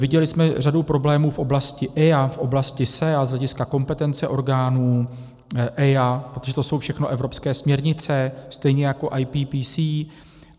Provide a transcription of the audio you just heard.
Viděli jsme řadu problémů v oblasti EIA, v oblasti SEA, z hlediska kompetence orgánů EIA, protože to jsou všechno evropské směrnice, stejně jako IPPC.